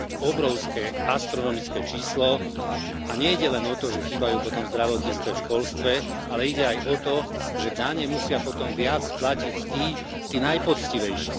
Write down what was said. Obrovské, astronomické číslo a nejde len o to, že chýbajú potom v zdravotníctve, v školstve, ale ide aj o to, že dane musia potom viac platiť tí, tí najpoctivejší.